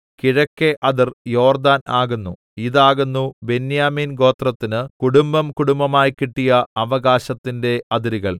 കിഴക്കെ അതിർ യോർദ്ദാൻ ആകുന്നു ഇതാകുന്നു ബെന്യാമീൻ ഗോത്രത്തിന് കുടുംബംകുടുംബമായി കിട്ടിയ അവകാശത്തിന്റെ അതിരുകൾ